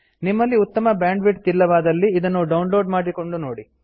ನಿಮ್ಮಲ್ಲಿ ಉತ್ತಮ ಬ್ಯಾಂಡ್ವಿಡ್ತ್ ಇಲ್ಲವಾದಲ್ಲಿ ಇದನ್ನು ಡೌನ್ ಲೋಡ್ ಮಾಡಿ ನೋಡಿ